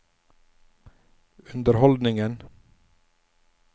underholdningen